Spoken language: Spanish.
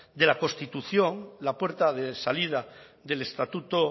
de la constitución la puerta de salida del estatuto